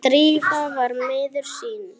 Drífa var miður sín.